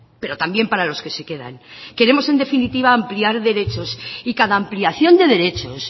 pero también para los que se quedan queremos en definitiva ampliar derechos y cada ampliación de derechos